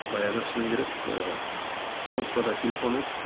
баяғыда шыны керек і кнопкада телефон еді